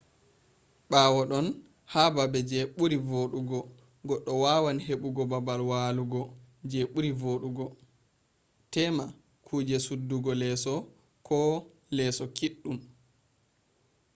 bawo ɗon ha babe je ɓuri vodugo goɗɗo wawan heɓugo baabal wallugo je ɓuri vodugo tema kuje suddugo leso ko leeso kiɗɗum